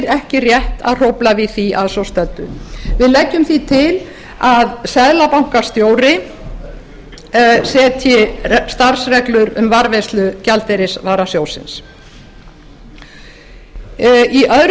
ekki rétt að hrófla við því að svo stöddu við leggjum því til að seðlabankastjóri setji starfsreglur um varðveislu gjaldeyrisvarasjóðsins í öðru